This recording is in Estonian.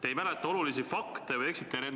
Te ei mäleta olulisi fakte või eksite tahtlikult.